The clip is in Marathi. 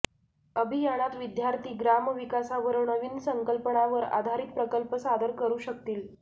अभियानात विद्यार्थी ग्रामविकासावर नवीन संकल्पनावर आधारित प्रकल्प सादर करू शकतील